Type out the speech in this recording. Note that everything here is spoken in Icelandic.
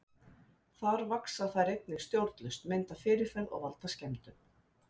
Þar vaxa þær einnig stjórnlaust, mynda fyrirferð og valda skemmdum.